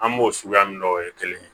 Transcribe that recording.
An b'o suguya min o ye kelen ye